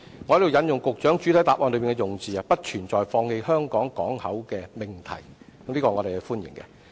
我在此引述局長在主體答覆的用字："不存在放棄香港港口的命題"，對此我們表示歡迎。